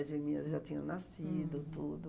As geminhas já tinham nascido, tudo.